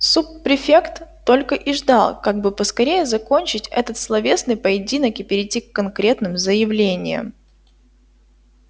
суб-префект только и ждал как бы поскорее закончить этот словесный поединок и перейти к конкретным заявлениям